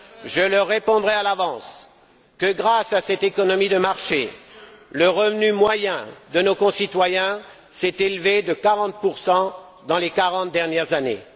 Je leur répondrai à l'avance que grâce à cette économie de marché, le revenu moyen de nos concitoyens s'est élevé de 40 dans les quarante dernières années.